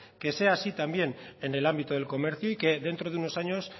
que sea así también en el ámbito del comercio y que dentro de unos años